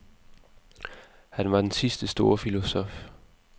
Han var den sidste store filosof.